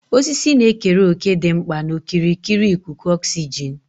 Osisi na-ekere òkè dị mkpa na okirikiri ikuku oxygen.